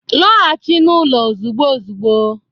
Lọghachi n'ụlọ ozugbo ozugbo